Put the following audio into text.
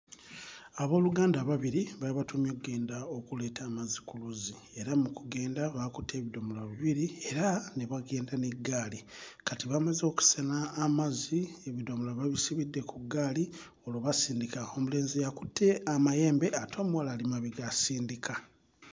Abooluganda ababiri baabatumye oggenda okuleeta amazzi ku luzzi era mu kugenda baakutte ebidomola bibiri era ne bagenda n'eggaali. Kati bamaze okusena amazzi ebidomola babisibidde ku ggaali olwo basindika. Omulenzi y'akutte amayembe ate omuwala ali mabega asindika.